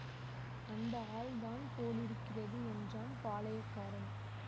அந்த ஆள் தான் போலிருக்கிறது என்றான் பாளையக்காரன்